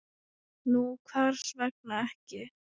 Nú hvers vegna ekki?